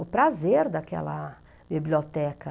o prazer daquela biblioteca.